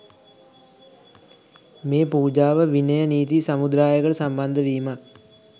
මේ පූජාව විනය නීති සමුදායකට සම්බන්ධ වීමත්